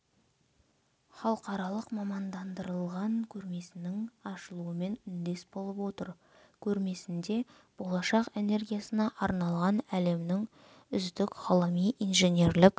халықаралық мамандандырылған көрмесінің ашылуымен үндес болып отыр көрмесінде болашақ энергиясына арналған әлемнің үздік ғылыми инженерлік